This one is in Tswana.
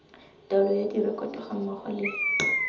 taolo ya direkoto gammogo le